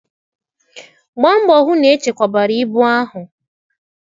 Gbaa mbọ hụ na echekwabara ibu ahụ!